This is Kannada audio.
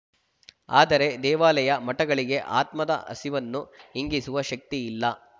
ಆದರೆ ದೇವಾಲಯ ಮಠಗಳಿಗೆ ಆತ್ಮದ ಹಸಿವನ್ನು ಇಂಗಿಸುವ ಶಕ್ತಿಯಿಲ್ಲ